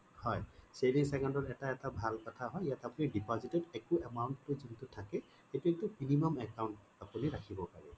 হয় savings account ত এটা এটা ভাল কথা হয় ইয়াতে আপুনি deposit ত একো amount টো যোনটো থাকে সেইটোয়ে টো minimum account আপুনি ৰাখিব পাৰে